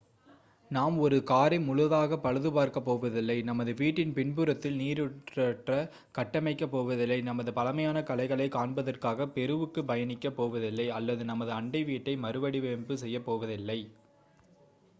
நாம் ஒரு காரை முழுதாக பழுது பார்க்கப் போவதில்லை நமது வீட்டின் பின்புறத்தில் நீருற்றை கட்டமைக்கப் போவதில்லை நமது பழமையான கலைகளை காண்பதற்காக பெருவுக்கு பயணிக்க போவதில்லை அல்லது நமது அண்டை வீட்டை மறுவடிவமைப்பு செய்யப்போவதில்லை